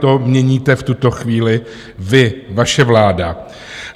To měníte v tuto chvíli vy, vaše vláda.